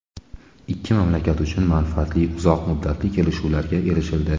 Ikki mamlakat uchun manfaatli va uzoq muddatli kelishuvlarga erishildi.